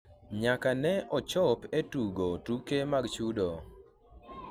nyaka ne ochopo e tugo tuke mag chudo